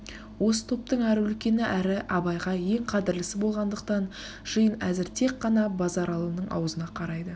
осы топтың әрі үлкені әрі абайға ең қадірлісі болғандықтан жиын әзір тек қана базаралының аузына қарайды